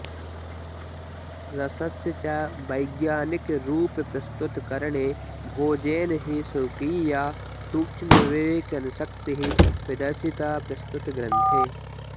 रसस्य च वैज्ञानिकरूपप्रस्तुतकरणे भोजेन हि स्वकीया सूक्ष्मविवेचनशक्तिः प्रदर्शिता प्रस्तुतग्रन्थे